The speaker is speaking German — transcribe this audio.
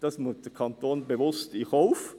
Das nimmt der Kanton bewusst in Kauf.